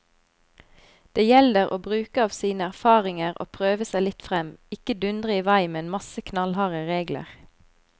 Det gjelder å bruke av sine erfaringer og prøve seg litt frem, ikke dundre i vei med en masse knallharde regler.